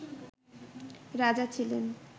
রাজা ছিলেন